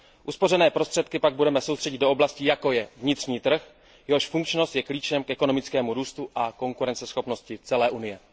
Uspořené prostředky pak budeme soustředit do oblastí, jako je vnitřní trh, jehož funkčnost je klíčem k ekonomickému růstu a konkurenceschopnosti celé Unie.